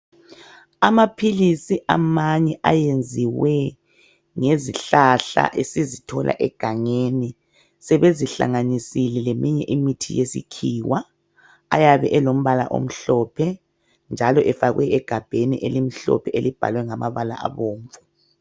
Amaphilisi amanye eyenziwe ngezihlahla esizithola egangeni sebezihlanganisile leminye imithi yesikhiwa ayabe elombala omhlophe njalo efakwe egabheni elimhlophe elibhalwe ngamabala abomvu.